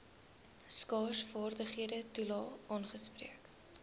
skaarsvaardighede toelae aangespreek